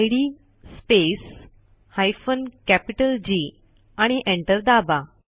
इद space hyphen capital G आणि enter दाबा